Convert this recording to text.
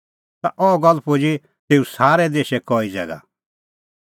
ता अह गल्ल पुजी तेऊ सारै देशै कई ज़ैगा